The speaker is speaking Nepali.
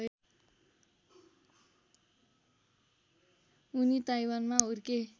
उनी ताईवानमा हुर्के